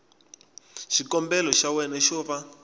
xikombelo xa wena xo va